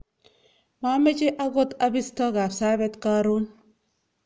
mameche akot abisto Kapsabet karon